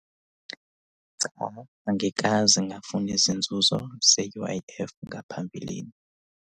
Cha, angikaze ngafuna izinzuzo ze-U_I_F ngaphambilini.